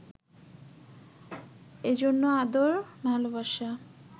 এজন্য আদর, ভালোবাসা